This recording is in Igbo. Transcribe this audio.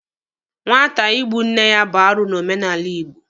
Nwata igbu nne ya bụ arụ n'omenala Igbo.